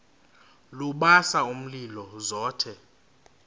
lubasa umlilo zothe